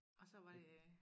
Og så var det øh